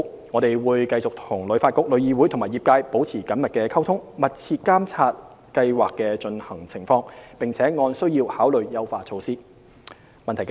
我們會與旅發局、旅議會和業界等保持緊密溝通，密切監察計劃的推行情況，並按需要考慮優化措施。